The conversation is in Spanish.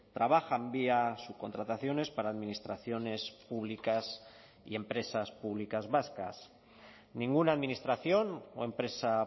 trabajan vía subcontrataciones para administraciones públicas y empresas públicas vascas ninguna administración o empresa